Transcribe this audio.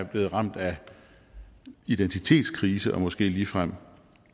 blevet ramt af identitetskrise og måske ligefrem